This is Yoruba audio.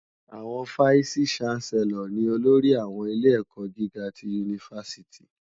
Awòn fáìsí ṣánsèlòr ni ólórì áwòn ilé èkò gigá ti unifásìtí